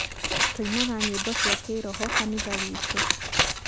tũinaga nyĩmbo cia kĩroho kanithawitũ.